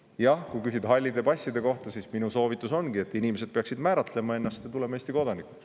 Jah, kui küsida hallide passide kohta, siis minu soovitus ongi, et inimesed peaksid määratlema ennast ja tulema Eesti kodanikuks.